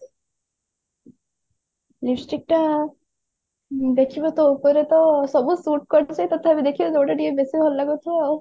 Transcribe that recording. lipstick ଟା ମୁଁ ଦେଖିବି ତୋ ଉପରେ ତ ସବୁ suit କରୁଛି ତଥାପି ଦେଖିବା ଯୋଉଟା ଟିକେ ବେଶୀ ଭଲ ଲାଗୁଥିବ ଆଉ